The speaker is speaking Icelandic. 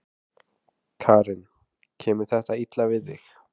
Karen: Kemur þetta illa við þig?